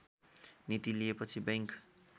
नीति लिएपछि बैंक